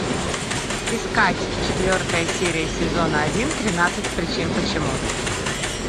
искать четвертая серия сезона один тринадцать причин почему